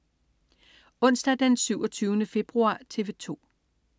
Onsdag den 27. februar - TV 2: